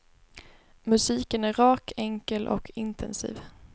Musiken är rak, enkel och intensiv.